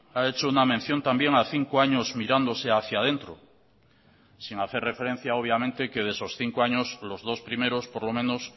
ha hecho una mención también a cinco años mirándose hacia dentro sin hacer referencia obviamente que de esos cinco años los dos primeros por lo menos